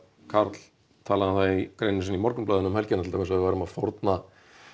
Karl talaði um það í greininni sinni í Morgunblaðinu um helgina til dæmis að við værum að fórna